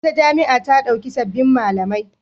Wata jami'a ta ɗauki sabbin malamai